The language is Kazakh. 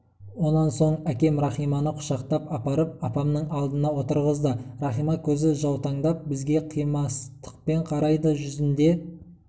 онан соң әкем рахиманы құшақтап апарып апамның алдына отырғызды рахима көзі жаутаңдап бізге қимастықпен қарайды жүзінде